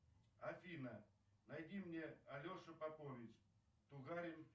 афина найди мне алеша попович тугарин